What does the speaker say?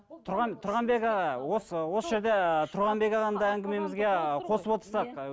тұрғанбек аға осы осы жерде тұрғанбек ағаны да әңгімемізге қосып отырсыздар